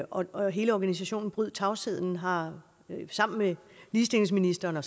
og og hele organisationen bryd tavsheden har sammen med ligestillingsministeren og